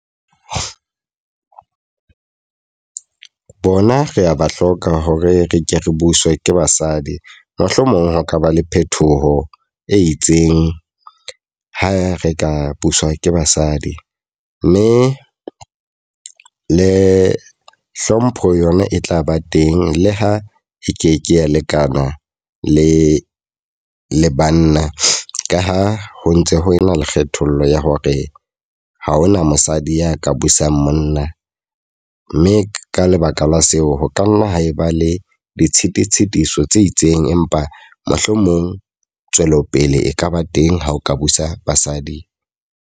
Bona re a ba hloka hore re ke re buswa ke basadi. Mohlomong ho ka ba le phethoho e itseng ha re ka buswa ke basadi. Mme le hlompho yona e tla ba teng, le ha e keke ya lekana le le banna. Ka ha ho ntse ho ena le kgethollo ya hore ha hona mosadi ya ka busang monna. Mme ka lebaka la seo, ho ka nna ha e ba le ditshitiso tshitiso tse itseng. Empa mohlomong tswelopele e kaba teng ha o ka busa basadi.